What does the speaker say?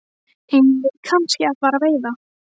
Eigum við kannski að fara að veiða?